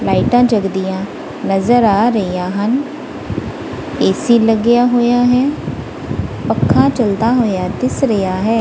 ਲਾਈਟਾਂ ਜਗਦੀਆਂ ਨਜ਼ਰ ਆ ਰਹੀਆਂ ਹਨ ਏ ਸੀ ਲੱਗਿਆ ਹੋਇਆ ਹੈ ਪੱਖਾ ਚੱਲਦਾ ਹੋਇਆ ਦਿਸ ਰਿਹਾ ਹੈ।